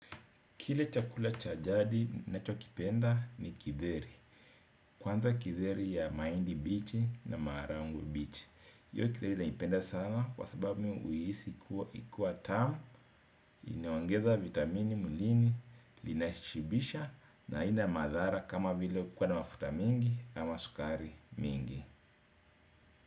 Kile chakula cha jadi nachokipenda ni kidheri. Kwanza kidheri ya maindi bichi na maragwe bichi. Yoi kidheri naipenda sana kwa sababu niuhisi kuwa tamu, inayoongeza vitamini mwilini, linaishibisha na haina madhara kama vile kuwa na mafuta mingi ama sukari mingi.